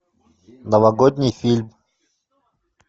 новогодний фильм